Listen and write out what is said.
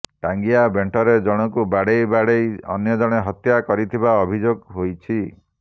ଟାଙ୍ଗିଆ ବେଣ୍ଟରେ ଜଣକୁ ବାଡ଼େଇ ବାଡ଼େଇ ଅନ୍ୟଜଣେ ହତ୍ୟା କରିଥିବା ଅଭିଯୋଗ ହୋଇଛି